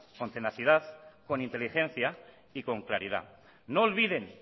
con tenacidad con inteligencia y con claridad no olviden